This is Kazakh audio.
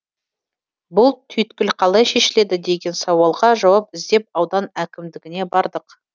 бұл түйткіл қалай шешіледі деген сауалға жауап іздеп аудан әкімдігіне бардық